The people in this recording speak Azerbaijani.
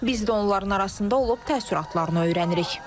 Biz də onların arasında olub təəssüratlarını öyrənirik.